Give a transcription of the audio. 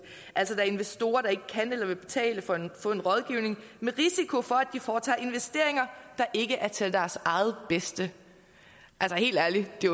altså er investorer der ikke kan eller vil betale for at få en rådgivning med risiko for at de foretager investeringer der ikke er til deres eget bedste altså helt ærligt det